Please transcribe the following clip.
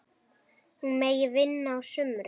Hún megi vinna á sumrin.